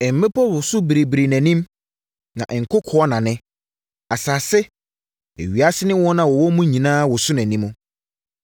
Mmepɔ woso biribiri nʼanim na nkokoɔ nane. Asase, ewiase ne wɔn a wɔwɔ mu nyinaa woso nʼanim.